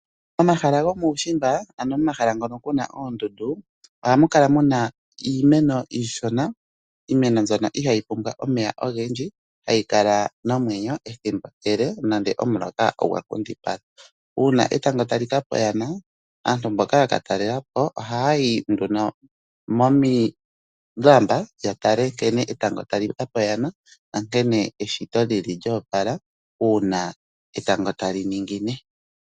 Momahala gomuushimba ano momahala moka mu na oondundu ohamu kala mu na iimeno iishona, iimeno mbyono ihayi pumbwa omeya ogendji, hayi kala nomwenyo ethimbo ele nande omuloka ogwa nkundipala. Uuna etango tali ka pa oyana, aantu mboka ya ka talela po ohaya yi nduno momilamba ya tale nkene etango tali ka pa oyana nankene eshito lyo opala uuna etango tali ningine.